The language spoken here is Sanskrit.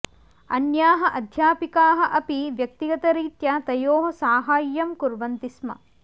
अन्याः अध्यापिकाः अपि व्यक्तिगतरीत्या तयोः साहाय्यं कुर्न्वन्ति स्म